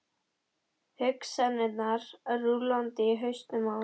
Hugsanirnar rúllandi í hausnum á honum.